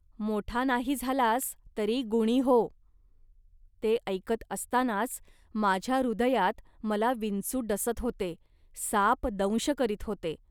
मोठा नाही झालास, तरी गुणी हो. ते ऐकत असतानाच माझ्या हृदयात मला विंचू डसत होते, साप दंश करीत होते